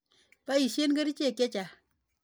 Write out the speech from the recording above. Poisyen kerichek che chang' kanyoik.